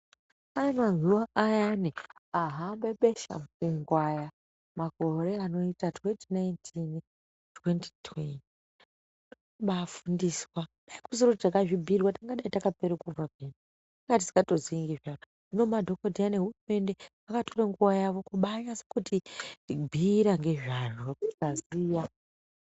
Aya mazuwa ayani ahambe besha mupengo aya makore anoita 2019 2020 kubaafundiswa, Kusiri kuti takazvibhiirwa tingadai takapere kufa peya, inga tisikatozii ngezvazvo hino madhokodheya nehurumende akatore nguwa yawo kubaanyase kuti bhiira ngezvazvo tikaziya.